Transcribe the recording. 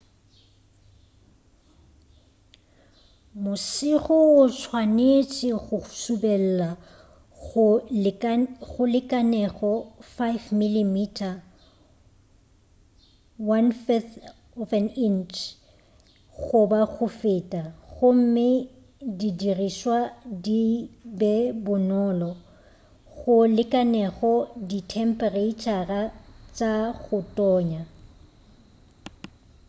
mosego o swanetše go subelela go lekanego 5 mm 1/5 inch goba go feta gomme di dirišwa di be bonolo go lekanego dithemphereitšhara tša go tonya